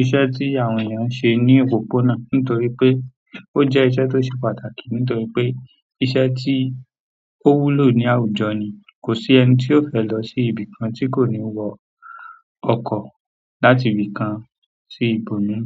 iṣẹ́ tí àwọn èèyàn ń ṣe ní òpópónà nítorí pé ó jẹ́ iṣẹ́ tó ṣe pàtàkì nítorí pé iṣẹ́ tí ó wúlò ní àwùjọ ni. Kò sí ẹni tí ó fẹ́ lọ sí ibìkan tí kò ní wọ ọkọ̀ láti ibìkan sí ibòmíràn.